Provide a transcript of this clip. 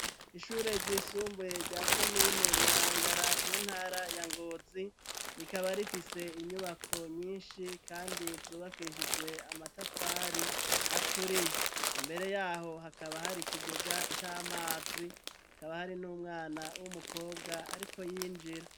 Ishure ry'isumbuye rya komine marangara mu ntara ya ngozi rikaba rifise inyubako nyinshi kandi zubakishijwe amatafari aturiye, imbere yaho hakaba hari ikigega c'amazi hakaba hari n'umwana w'umukobwa ariko yinjira.